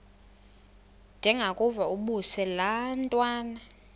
ndengakuvaubuse laa ntwana